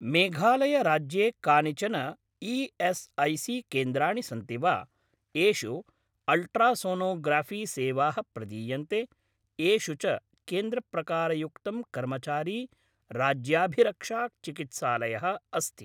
मेघालय राज्ये कानिचन ई.एस्.ऐ.सी.केन्द्राणि सन्ति वा येषु अल्ट्रासोनोग्राफ़ी सेवाः प्रदीयन्ते, येषु च केन्द्रप्रकारयुक्तं कर्मचारी राज्याभिरक्षा चिकित्सालयः अस्ति?